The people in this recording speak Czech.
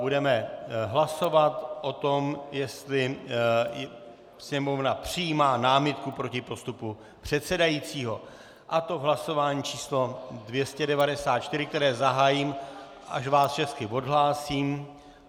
Budeme hlasovat o tom, jestli Sněmovna přijímá námitku proti postupu předsedajícího, a to v hlasování číslo 294, které zahájím, až vás všechny odhlásím.